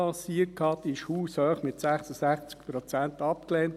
Sie wurde mit 66 Prozent haushoch abgelehnt.